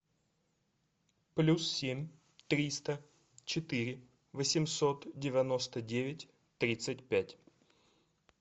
плюс семь триста четыре восемьсот девяносто девять тридцать пять